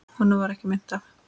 Honum varð ekki meint af.